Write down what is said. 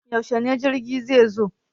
Yaushe jirgin zai zo?